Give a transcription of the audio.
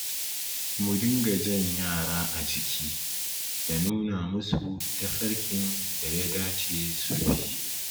Mu dinga jan yara a jiki, da nuna musa tafarkin da ya dace su bi.